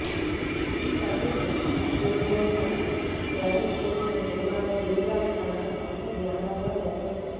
సతీష్ వేగ్నేశ డైరెక్ట్ చేసిన ఈ సినిమాను దిల్ రాజు తన సొంత బ్యానర్ లో నిర్మించారు